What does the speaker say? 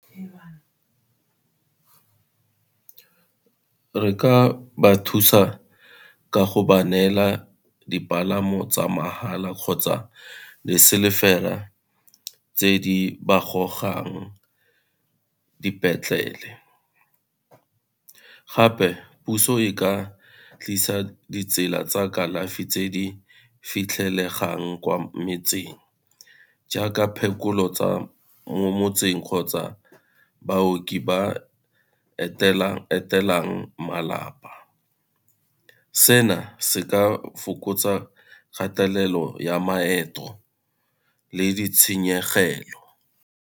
Re ka ba thusa ka go ba neela dipalamo tsa mahala kgotsa le selefera tse di ba gogang dipetlele, gape puso e ka tlisa ditsela tsa kalafi tse di fitlhelegang kwa metseng jaaka phekolo tsa mo motseng kgotsa baoki ba etela-etelang malapa. Sena se ka fokotsa kgatelelo ya maeto le ditshenyegelo.